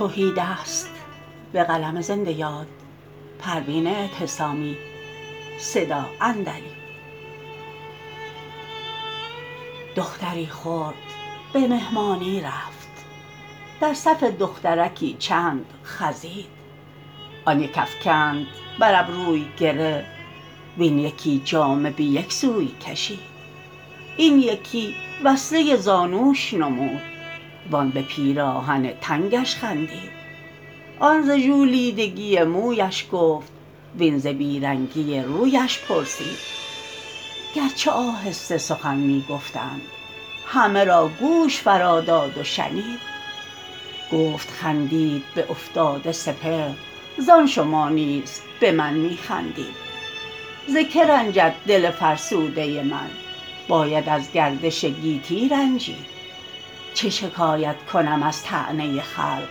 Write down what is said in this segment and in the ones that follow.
دختری خرد به مهمانی رفت در صف دخترکی چند خزید آن یک افکند بر ابروی گره وین یکی جامه به یک سوی کشید این یکی وصله زانوش نمود وان به پیراهن تنگش خندید آن ز ژولیدگی مویش گفت وین ز بیرنگی رویش پرسید گرچه آهسته سخن می گفتند همه را گوش فرا داد و شنید گفت خندید به افتاده سپهر زان شما نیز به من می خندید ز که رنجد دل فرسوده من باید از گردش گیتی رنجید چه شکایت کنم از طعنه خلق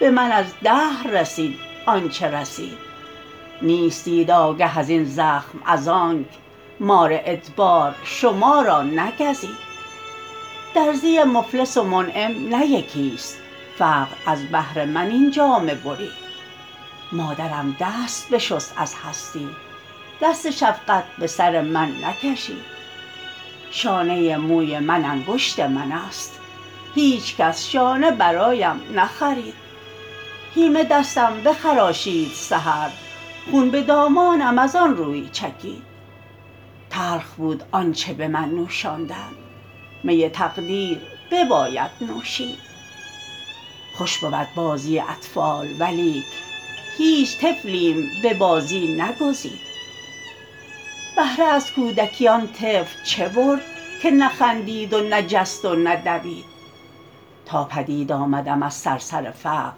به من از دهر رسید آنچه رسید نیستید آگه ازین زخم از آنک مار ادبار شما را نگزید درزی مفلس و منعم نه یکی است فقر از بهر من این جامه برید مادرم دست بشست از هستی دست شفقت به سر من نکشید شانه موی من انگشت من است هیچکس شانه برایم نخرید هیمه دستم بخراشید سحر خون به دامانم از آنروی چکید تلخ بود آنچه به من نوشاندند می تقدیر بباید نوشید خوش بود بازی اطفال ولیک هیچ طفلیم به بازی نگزید بهره از کودکی آن طفل چه برد که نه خندید و نه جست و نه دوید تا پدید آمدم از صرصر فقر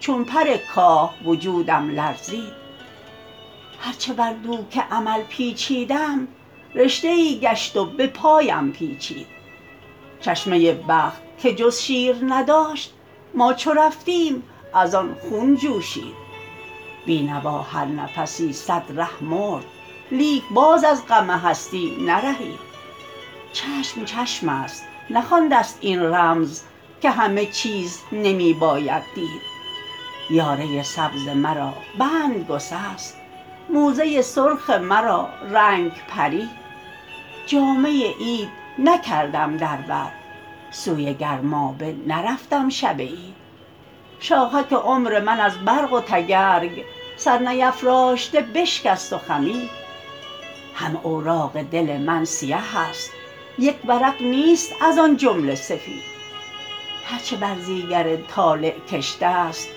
چون پر کاه وجودم لرزید هر چه بر دوک امل پیچیدم رشته ای گشت و به پایم پیچید چشمه بخت که جز شیر نداشت ما چو رفتیم از آن خون جوشید بینوا هر نفسی صد ره مرد لیک باز از غم هستی نرهید چشم چشم است نخوانده ست این رمز که همه چیز نمی باید دید یاره سبز مرا بند گسست موزه سرخ مرا رنگ پرید جامه عید نکردم در بر سوی گرمابه نرفتم شب عید شاخک عمر من از برق و تگرگ سر نیفراشته بشکست و خمید همه اوراق دل من سیه است یک ورق نیست از آن جمله سفید هر چه برزیگر طالع کشته است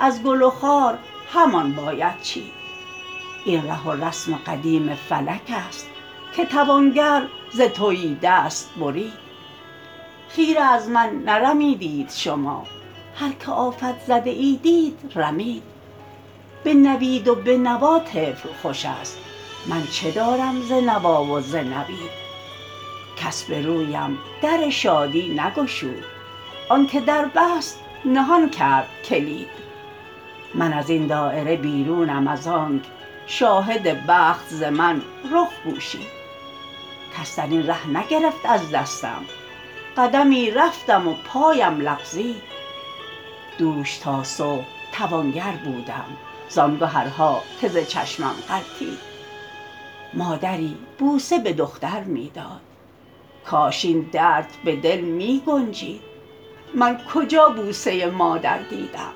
از گل و خار همان باید چید این ره و رسم قدیم فلک است که توانگر ز تهیدست برید خیره از من نرمیدید شما هر که آفت زده ای دید رمید به نوید و به نوا طفل خوش است من چه دارم ز نوا و ز نوید کس به رویم در شادی نگشود آنکه در بست نهان کرد کلید من از این دایره بیرونم از آنک شاهد بخت ز من رخ پوشید کس درین ره نگرفت از دستم قدمی رفتم و پایم لغزید دوش تا صبح توانگر بودم زان گهرها که ز چشمم غلطید مادری بوسه به دختر می داد کاش این درد به دل می گنجید من کجا بوسه مادر دیدم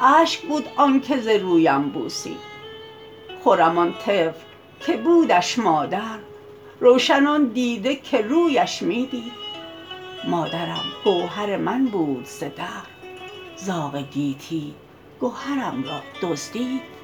اشک بود آنکه ز رویم بوسید خرم آن طفل که بودش مادر روشن آن دیده که رویش می دید مادرم گوهر من بود ز دهر زاغ گیتی گهرم را دزدید